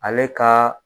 Ale ka